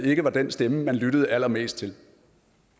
ikke var den stemme man lyttede allermest til